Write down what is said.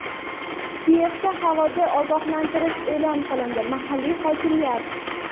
Kiyevda havodan ogohlantirish e’lon qilindi – mahalliy hokimiyat.